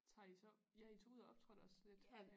Tager I så ja I tog ud og optrådte også lidt